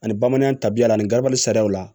Ani bamananya tabiya la ani garibu sariya la